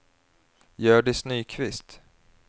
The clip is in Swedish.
Hjördis Nyqvist